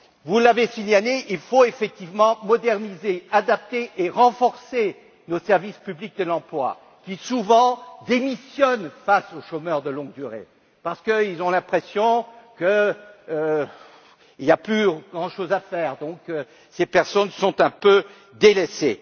Vous l'avez signalé, il faut effectivement moderniser, adapter et renforcer nos services publics de l'emploi, qui souvent démissionnent face aux chômeurs de longue durée parce qu'ils ont l'impression qu'il n'y a plus grand chose à faire, donc ces personnes sont un peu délaissées.